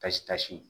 Pasi pasi